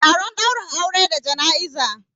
Taron daurin aure da jana'iza